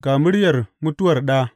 Ga muryar Mutuwar Ɗa.